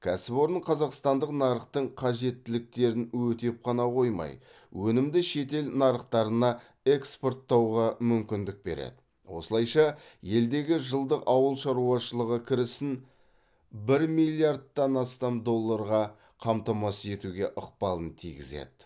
кәсіпорын қазақстандық нарықтың қажеттіліктерін өтеп қана қоймай өнімді шетел нарықтарына экспорттауға мүмкіндік береді осылайша елдегі жылдық ауыл шаруашылығы кірісін бір миллардтан астам долларға қамтамасыз етуге ықпалын тигізеді